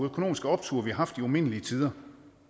økonomiske optur vi har haft i umindelige tider